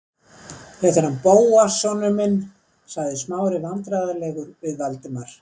Þetta er hann Bóas sonur minn- sagði Smári vandræðalegur við Valdimar.